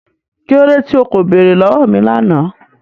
Kí lódé tí o kò bẹ̀ẹ̀rẹ̀ lọ̀wọ̀ mi lánà?